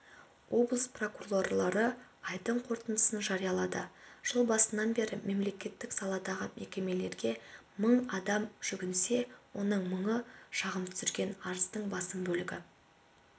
облыс прокурорлары айдың қорытындысын жариялады жыл басынан бері мемлекеттік саладағы мекемелерге мың адам жүгінсе оның мыңы шағым түсірген арыздың басым бөлігі